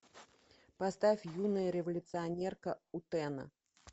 поставь юная революционерка утэна